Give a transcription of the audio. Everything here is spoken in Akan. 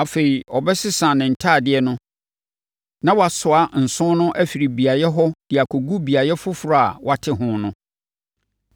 Afei, ɔbɛsesa ne ntadeɛ no na wasoa nsõ no afiri beaeɛ hɔ de akɔgu beaeɛ foforɔ a wɔate hɔ no.